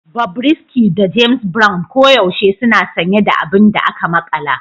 Bobrisky da James Brown koyaushe suna sanye da abin da aka makala